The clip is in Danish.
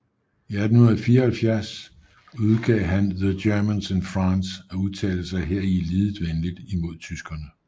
I 1874 udgav han The Germans in France og udtalte sig heri lidet venlig imod tyskerne